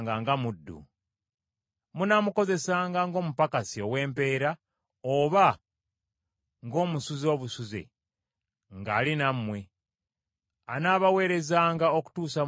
Munaamukozesanga ng’omupakasi ow’empeera oba ng’omusuze obusuze, ng’ali nammwe. Anaabaweerezanga okutuusa mu Mwaka gwa Jjubiri.